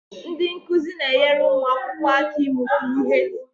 Ndị nkuzi na-enyere ụmụ akwụkwọ aka ịmụta ihe